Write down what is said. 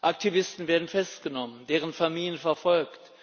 Aktivisten werden festgenommen, deren Familien verfolgt.